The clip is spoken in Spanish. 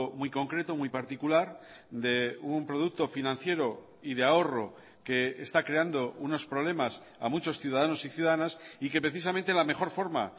muy concreto muy particular de un producto financiero y de ahorro que está creando unos problemas a muchos ciudadanos y ciudadanas y que precisamente la mejor forma